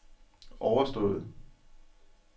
overstået